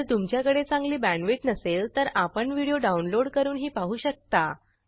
जर तुमच्याकडे चांगली बॅण्डविड्थ नसेल तर आपण व्हिडिओ डाउनलोड करूनही पाहू शकता